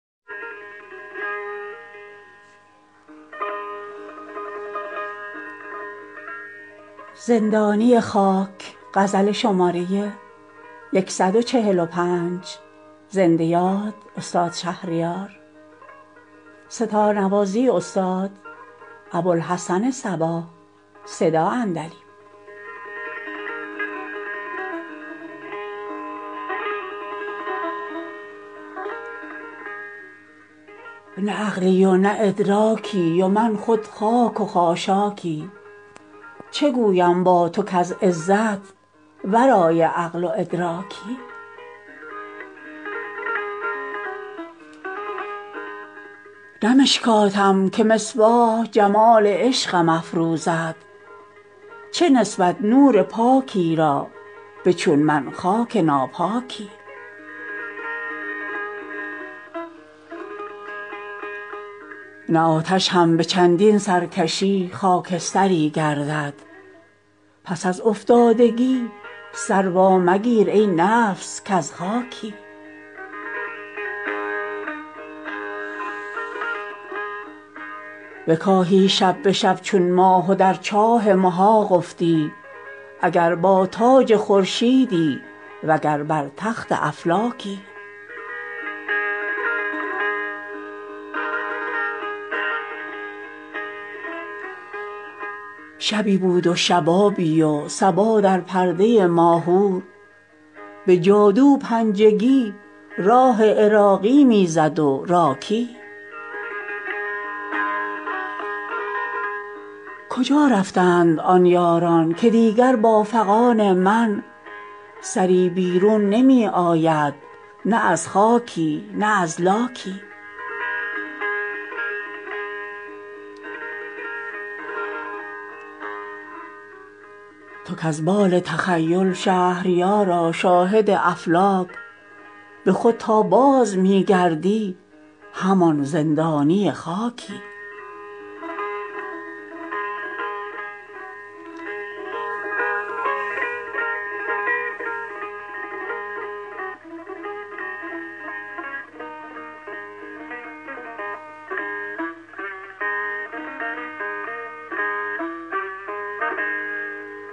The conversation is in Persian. نه عقلی و نه ادراکی و من خود خاک و خاشاکی چه گویم با تو کز عزت ورای عقل و ادراکی نه مشکاتم که مصباح جمال عشقم افروزد چه نسبت نور پاکی را به چون من خاک ناپاکی بدین سیل سرشکم آتش دوزخ چه خواهد کرد گرفتم با چو من کم آبرویی هم غضبناکی نه آتش هم به چندین سرکشی خاکستری گردد پس از افتادگی سر وامگیر ای نفس کز خاکی فلک غلتید و از بار امانت شانه خالی کرد تو زیر بار این کوه کلان رفتی چه بی باکی بکاهی شب به شب چون ماه و در چاه محاق افتی اگر با تاج خورشیدی وگر بر تخت افلاکی عصا با خود ستون کردی کجا شد سرو بالایت که دیگر سرنگون در پای خود چون طارم تاکی شبی بود و شبابی و صبا در پرده ماهور به جادو پنجگی راه عراقی میزد و راکی کجا رفتند آن یاران که دیگر با فغان من سری بیرون نمی آید نه از خاکی نه از لاکی تو باری عدل کن نوشیروان خانه خود باش که گر با زیردستانت سر ظلم است ضحاکی زلیخا چاک زد در دامن یوسف نمی دانست که خواهد کردن از پاکی حکایت دامن چاکی تو کز بال تخیل شهریارا شاهد افلاک به خود تا بازمی گردی همان زندانی خاکی